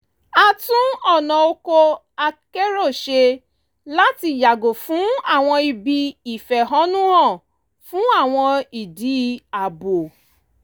a tún ọ̀nà ọkọ̀ akérò ṣe láti yàgò fún àwọn ibi ìfẹ̀hónú-hàn fún àwọn ìdí ààbò